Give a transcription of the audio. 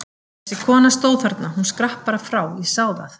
Þessi kona stóð þarna, hún skrapp bara frá, ég sá það!